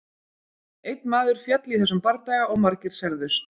Einn maður féll í þessum bardaga og margir særðust.